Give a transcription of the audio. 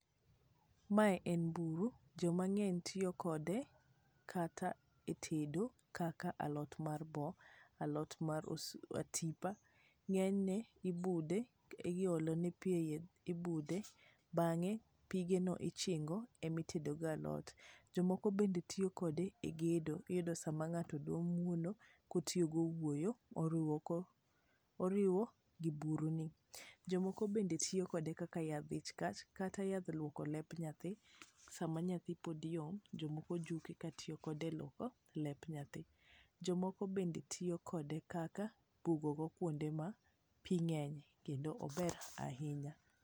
Mae en buru, joma ng'eny tiyo kode kata e tedo kaka alot mar boo, alot mar osuga.Ng'enyne ,ibude, iolone pii e iye, ibude, bang'e pigeno ema ichingo, itedogo alot. Jomoko bende tiyo kode e gedo. Iyudo sama ng'ato dwa muono, kotiyo gi owuoyo, oriwo gi buruni. Jomoko bende tiyo kode kaka yadh ich kach, kata yadh luoko lep nyathi sama nyathi pod yom, jomoko juke ka tiyo kode e luoko lep nyathi. Jomoko bende tiyo kode kaka bugogo kwonde ma pii ng'enye kendo ober ahinya.